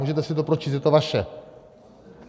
Můžete si to pročíst, je to vaše.